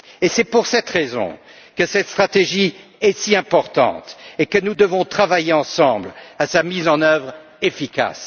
C'est pour cette raison que cette stratégie est si importante et que nous devons travailler ensemble à sa mise en œuvre efficace.